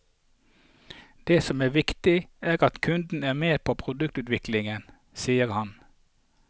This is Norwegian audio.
Det som er viktig, er at kundene er med på produktutviklingen, sier han.